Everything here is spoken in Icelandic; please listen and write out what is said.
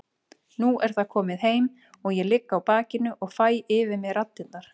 Nú er það komið heim og ég ligg á bakinu og fæ yfir mig raddirnar.